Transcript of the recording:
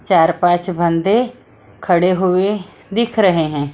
चार-पांच बंदे खड़े हुए दिख रहे हैं।